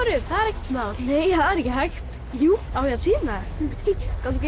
upp það er ekkert mál nei það er ekki hægt jú á ég að sýna þér gangi